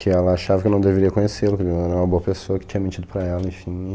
Que ela achava que eu não deveria conhecê-lo, que ele não era uma boa pessoa, que tinha mentido para ela, enfim.